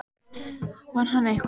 Vann hann eitthvað?